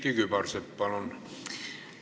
Külliki Kübarsepp, palun!